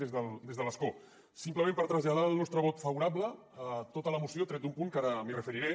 des de l’escó simplement per traslladar el nostre vot favorable a tota la moció tret d’un punt que ara m’hi referiré